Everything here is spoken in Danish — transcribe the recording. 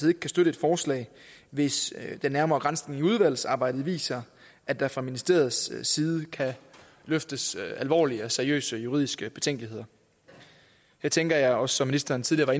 ikke kan støtte et forslag hvis den nærmere granskning i udvalgsarbejdet viser at der fra ministeriets side kan løftes alvorlige og seriøse juridiske betænkeligheder her tænker jeg også ministeren tidligere